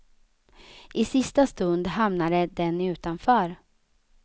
I sista stund hamnade den utanför.